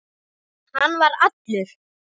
Hann var allur.